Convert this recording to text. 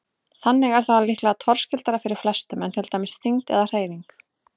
Þannig er það líklega torskildara fyrir flestum en til dæmis þyngd eða hreyfing.